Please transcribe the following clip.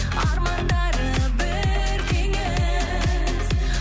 армандары бір теңіз